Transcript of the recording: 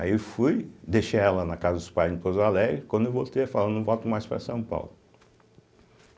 Aí eu fui, deixei ela na casa dos pais em Pouso Alegre, quando eu voltei, ela falou olha eu não volto mais para São Paulo.